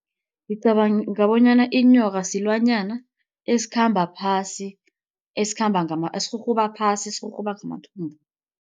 Ngicabanga bonyana inyoka silwanyana esikhamba phasi, esikhamba esirhurhuba phasi sirhurhuba ngamathumbu.